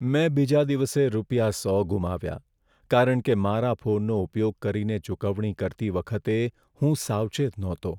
મેં બીજા દિવસે રૂપિયા સો ગુમાવ્યા, કારણ કે મારા ફોનનો ઉપયોગ કરીને ચૂકવણી કરતી વખતે હું સાવચેત નહોતો.